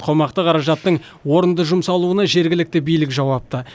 қомақты қаражаттың орынды жұмсалуына жергілікті билік жауапты